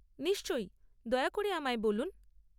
নিশ্চয়ই, দয়া করে আমায় বলুন।